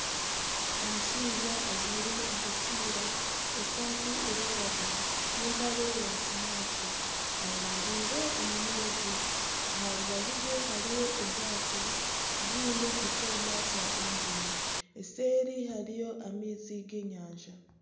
Omushaija ajwaire enkofiira esaata neyiragura n'empare ya kinyaatsi ayemereire omu maizi aha rubaju rwe hariho obwato bwine ekyoma kya eigiini eseeri hariyo amaizi g'enyanja.